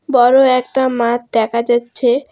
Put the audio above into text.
বড় একটা মাত দেখা যাচ্ছে।